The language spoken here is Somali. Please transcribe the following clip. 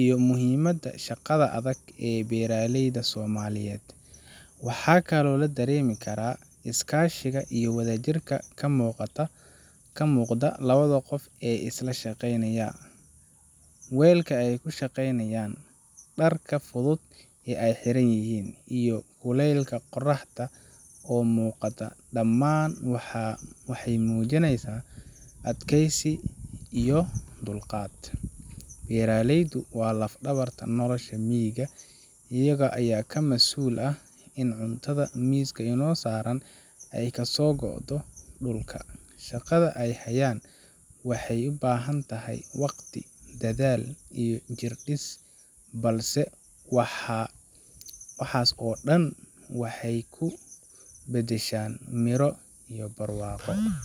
iyo muhiimadda shaqada adag ee beeraleyda Soomaaliyeed. Waxaa kaloo la dareemi karaa iskaashiga iyo wadajirka ka muuqda labada qof ee isla shaqaynaya. Weelka ay ku shaqaynayaan, dharka fudud ee ay xiran yihiin, iyo kulaylka qorraxda oo muuqda dhammaan waxay muujinayaan adkaysi iyo dulqaad. Beeraleydu waa laf-dhabarta nolasha miyiga, iyaga ayaa ka mas'uul ah in cuntada miiska inoo saaran ay kasoo go'do dhulka. Shaqada ay hayaan waxay u baahan tahay waqti, dadaal, iyo jirdhis, balse waxaas oo dhan waxay ku beddeshaan miro iyo barwaaqo.